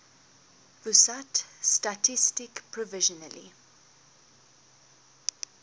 pusat statistik provisionally